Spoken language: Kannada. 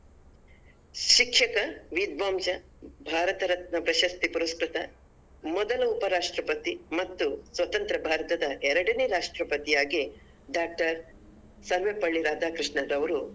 ಶಿಕ್ಷಕ ವಿದ್ವಾಂಸ ಭಾರತ ರತ್ನ ಪ್ರಶಸ್ತಿ ಪುರಸ್ಕ್ರತ ಮೊದಲ ಉಪರಾಷ್ಟ್ರಪತಿ ಮತ್ತು ಸ್ವತಂತ್ರ ಭಾರತದ ಎರಡನೇ ರಾಷ್ಟ್ರಪತಿಯಾಗಿ doctor ಸರ್ವಪಲ್ಲಿ ರಾಧಾಕೃಷ್ಣನ್ ಅವರು